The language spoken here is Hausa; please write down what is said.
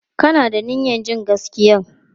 Ka na da niyyar jin gaskiyan?